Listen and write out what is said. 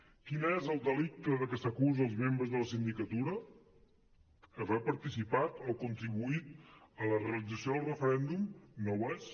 quin és el delicte del qual s’acusa els membres de la sindicatura haver participat o contribuït a la realització del referèndum no ho és